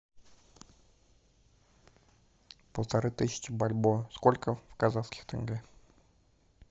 полторы тысячи бальбоа сколько в казахских тенге